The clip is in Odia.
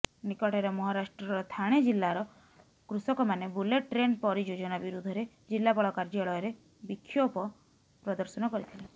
ନିକଟରେ ମହାରାଷ୍ଟ୍ରର ଥାଣେ ଜିଲ୍ଲାର କୃଷକମାନେ ବୁଲେଟ୍ ଟ୍ରେନ୍ ପରିଯୋଜନା ବିରୋଧରେ ଜିଲ୍ଲାପାଳ କାଯ୍ୟାଳୟରେ ବିକ୍ଷୋଭ ପ୍ରଦର୍ଶନ କରିଥିଲେ